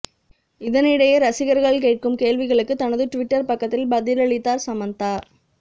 இதனிடையே ரசிகர்கள் கேட்கும் கேள்விகளுக்கு தனது ட்விட்டர் பக்கத்தில் பதிலளித்தார் சமந்தா